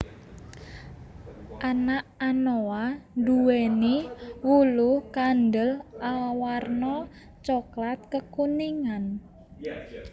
Anak anoa duwéni wulu kandel awarna coklat kekuningan